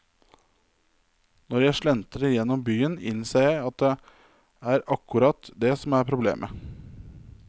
Når jeg slentrer gjennom byen innser jeg at det er akkurat det som er problemet.